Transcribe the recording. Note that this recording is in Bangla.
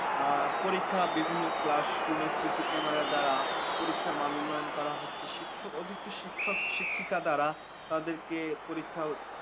আ পরিক্ষা বিভিন্ন classroom cc camera দ্বারা পরীক্ষার মান উন্নয়ন করা হচ্ছে শিক্ষক অভিজ্ঞ শিক্ষক শিক্ষিকা দ্বারা তাদেরকে পরীক্ষা